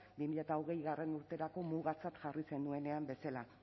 bi mila hogeigarrena urterako mugatzat jarri zenuenean bezala